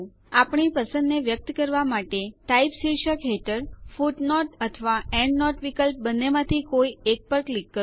આપણી પસંદને વ્યક્ત કરવા માટે ટાઇપ શીર્ષક હેઠળ ફુટનોટ અથવા એન્ડનોટ વિકલ્પ બંનેમાંથી કોઈ એક પર ક્લિક કરો